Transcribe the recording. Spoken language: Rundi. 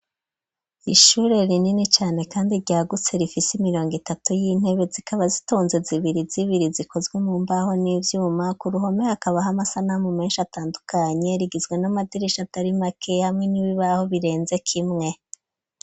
Ishure rinini cane kandi ryagutse, rifisi imiriyongo itatu y'intebe, zikaba zitonze zibiri zibiri, zikozwe mu mbaho n'ivyuma, kuruhome hakabaha amasanamu menshi atandukanye, rigizwe n'amadirisha atarimake hamwe n'ibibaho birenze kimwe.